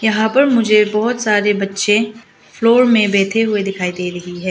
यहां पर मुझे बहुत सारे बच्चे फ्लोर में बैठे हुए दिखाई दे रही है।